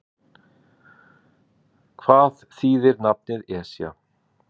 Hvað þýðir nafnið Esja?